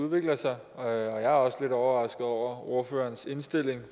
udvikler sig og jeg er også lidt overrasket over ordførerens indstilling